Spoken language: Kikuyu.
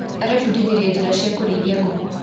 Arebundithirie njĩra cia kũrĩithia ngũkũ.